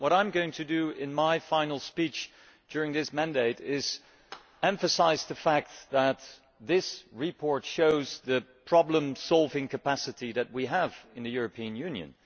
What I am going to do in my final speech during this mandate is emphasise the fact that this report shows the problem solving capacity that we have in the European Union.